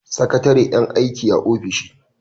Sakatare yan aiki a ofishi.